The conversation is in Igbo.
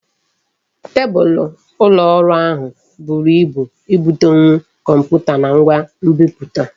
Tebulu ụlọ ọrụ ahụ buru ibu ibudonwu Kọmputa na ngwa nbiputa